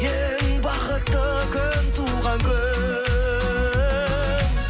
ең бақытты күн туған күн